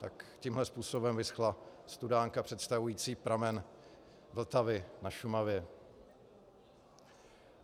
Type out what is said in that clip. Tak tímhle způsobem vyschla studánka představující pramen Vltavy na Šumavě.